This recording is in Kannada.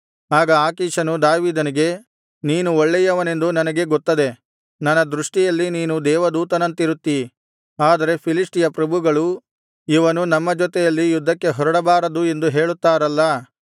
ಆಗ ಆಕೀಷನು ದಾವೀದನಿಗೆ ನೀನು ಒಳ್ಳೆಯವನೆಂದು ನನಗೆ ಗೊತ್ತದೆ ನನ್ನ ದೃಷ್ಟಿಯಲ್ಲಿ ನೀನು ದೇವದೂತನಂತಿರುತ್ತೀ ಆದರೆ ಫಿಲಿಷ್ಟಿಯ ಪ್ರಭುಗಳು ಇವನು ನಮ್ಮ ಜೊತೆಯಲ್ಲಿ ಯುದ್ಧಕ್ಕೆ ಹೊರಡಬಾರದು ಎಂದು ಹೇಳುತ್ತಾರಲ್ಲಾ